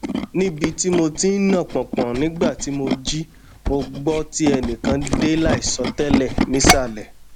nibi ti mo ti n na pọnpọn nigba ti mo ji mo gbọ ti ẹnikan de laisọ tẹlẹ nisalẹ